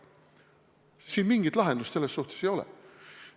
Siin mingit lahendust selles suhtes ei ole.